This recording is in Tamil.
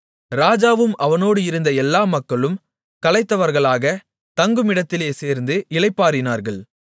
ராஜாவும் அவனோடு இருந்த எல்லா மக்களும் களைத்தவர்களாக தங்குமிடத்திலே சேர்ந்து இளைப்பாறினார்கள்